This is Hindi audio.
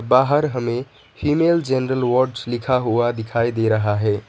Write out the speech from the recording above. बाहर हमें फीमेल जनरल वार्ड लिखा हुआ दिखाई दे रहा है।